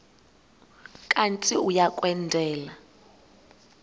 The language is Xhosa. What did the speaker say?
kanti uia kwendela